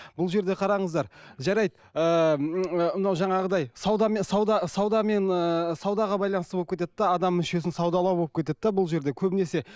бұл жерде қараңыздар жарайды ыыы мынау жаңағыдай саудамен сауда саудамен ыыы саудаға байланысты болып кетеді де адам мүшесін саудалау болып кетеді де бұл жерде көбінесе